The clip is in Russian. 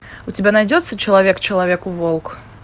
у тебя найдется человек человеку волк